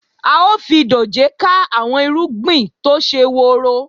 A ó fi dòjé ká àwọn irúgbìn tó ṣe woro